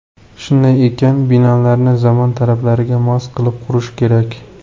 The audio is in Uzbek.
Shunday ekan, binolarni zamon talablariga mos qilib qurish kerak.